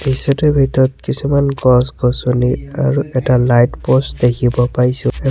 দৃশ্যটোৰ ভিতৰত কিছুমান গছ গছনি আৰু এটা লাইট প'ষ্ট দেখিব পাইছোঁ এ --